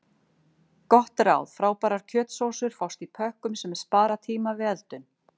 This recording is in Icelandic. Gott ráð: Frábærar kjötsósur fást í pökkum sem spara tíma við eldun.